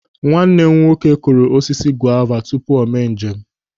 Nwanne m nwoke kụrụ osisi gova tupu o mee njem.